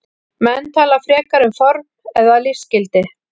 Menn tala frekar um form eða listgildi.